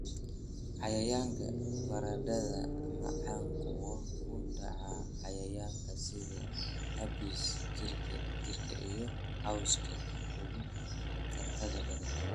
"Cayayaanka Baradhada macaanku waxa ku dhaca cayayaanka sida aphids, jiirka jiirka iyo cawska (ka ugu khatarta badan).